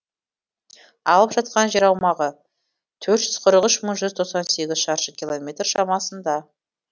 алып жатқан жер аумағы төрт жүз қырық үш бүтін жүз тоқсан сегіз шаршы километр шамасында